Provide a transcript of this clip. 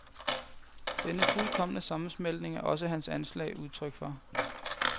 Denne fuldkomne sammensmeltning er også hans anslag udtryk for.